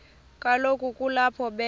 kaloku kulapho be